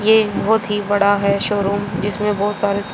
ये बहोत ही बड़ा है शोरूम जिसमें बहोत सारे--